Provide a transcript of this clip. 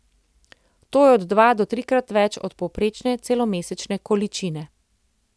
To je od dva do trikrat več od povprečne celomesečne količine.